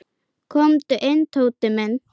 Komdu inn, Tóti minn.